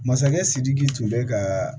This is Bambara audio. Masakɛ sidiki tun bɛ ka